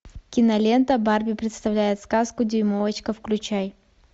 кинолента барби представляет сказку дюймовочка включай